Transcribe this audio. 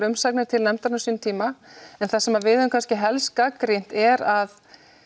umsagnir til nefndarinnar á sínum tíma en það sem við höfum kannski helst gagnrýnt er að